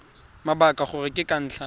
mabaka gore ke ka ntlha